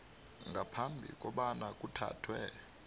ngaphambi kobana kuthathwe